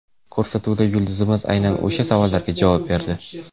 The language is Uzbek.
Ko‘rsatuvda yulduzimiz aynan o‘sha savollarga javob berdi.